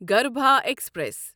گرٛبھا express